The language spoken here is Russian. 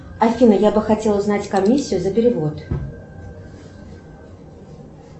афина я бы хотела узнать комиссию за перевод